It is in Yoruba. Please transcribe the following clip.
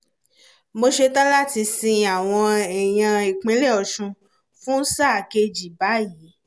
mo ṣetán láti sin àwọn èèyàn ìpínlẹ̀ ọ̀ṣun fún sáà kejì báyìí